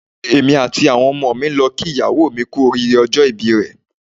Èmi àti àwọn ọmọ mi ń lọ ń kí ìyàwó mi kú oríire ọjọ́ ìbí rẹ̀.